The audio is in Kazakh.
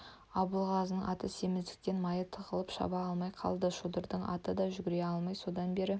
абылғазының аты семіздіктен майы тығылып шаба алмай қалды шодырдың аты да жүгіре алмай жүр содан бері